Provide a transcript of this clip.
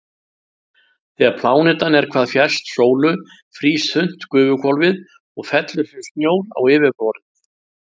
Þegar plánetan er hvað fjærst sólu frýs þunnt gufuhvolfið og fellur sem snjór á yfirborðið.